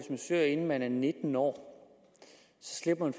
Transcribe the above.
man søger inden man er nitten år så slipper